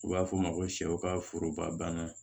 U b'a fɔ o ma ko sɛw ka foroba banna